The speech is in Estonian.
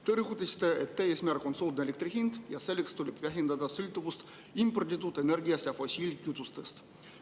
Te rõhutasite, et eesmärk on soodne elektri hind ja selleks tuleb vähendada sõltuvust imporditud energiast ja fossiilkütustest.